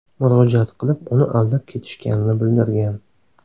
murojaat qilib, uni aldab ketishganini bildirgan.